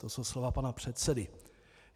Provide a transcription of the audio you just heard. To jsou slova pana předsedy.